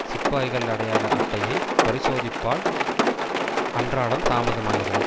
சிப்பாய்கள் அடையாள அட்டையை பரிசோதிப்பால் அன்றாடம் தாமதமாகிறது